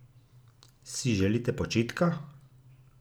Si želite počitka?